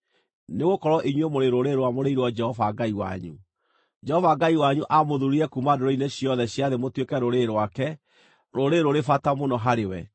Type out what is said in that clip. Nĩgũkorwo inyuĩ mũrĩ rũrĩrĩ rwamũrĩirwo Jehova Ngai wanyu. Jehova Ngai wanyu aamũthurire kuuma ndũrĩrĩ-inĩ ciothe cia thĩ mũtuĩke rũrĩrĩ rwake, rũrĩrĩ rũrĩ bata mũno harĩ we.